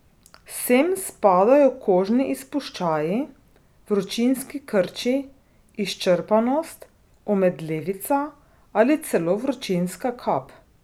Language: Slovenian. Sem spadajo kožni izpuščaji, vročinski krči, izčrpanost, omedlevica ali celo vročinska kap.